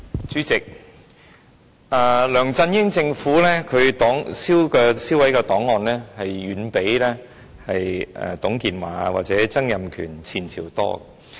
主席，梁振英政府銷毀的檔案遠較前屆的董建華或曾蔭權政府為多。